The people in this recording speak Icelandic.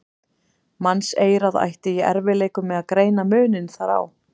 Mannseyrað ætti í erfiðleikum með að greina muninn þar á.